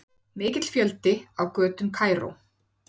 Mikill fjöldi á götum Kaíró